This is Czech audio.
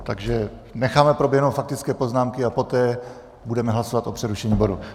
Takže necháme proběhnout faktické poznámky a poté budeme hlasovat o přerušení bodu.